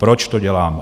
Proč to dělám?